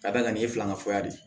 Ka d'a kan nin ye filanan de ye